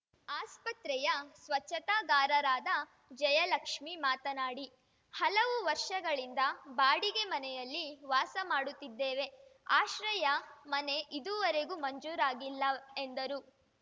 ಆಸ್ಪತ್ರೆಯ ಸ್ವಚ್ಛತಾಗಾರರಾದ ಜಯಲಕ್ಷ್ಮಿ ಮಾತನಾಡಿ ಹಲವು ವರ್ಷಗಳಿಂದ ಬಾಡಿಗೆ ಮನೆಯಲ್ಲಿ ವಾಸ ಮಾಡುತ್ತಿದ್ದೇವೆ ಆಶ್ರಯ ಮನೆ ಇದೂವರೆಗೂ ಮಂಜೂರಾಗಿಲ್ಲ ಎಂದರು